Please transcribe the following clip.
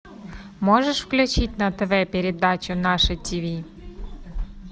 можешь включить на тв передачу наше тиви